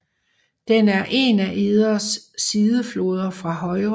Den er en af Eders sidefloder fra højre